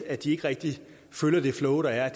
at de ikke rigtig kan følge det flow der er